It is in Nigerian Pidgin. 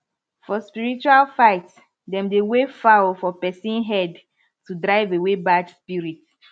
for spiritual fight dem dey wave fowl for person head to drive away bad spirit